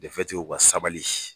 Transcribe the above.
o ka sabali.